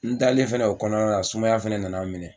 N dalen fɛnɛ o kɔnɔna na sumaya fɛnɛ nana n minɛ.